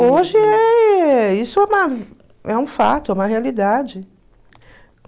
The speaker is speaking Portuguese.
Hoje é... Isso é uma é um fato, é uma realidade.